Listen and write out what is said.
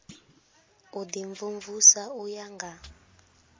u imvumvusa u ya nga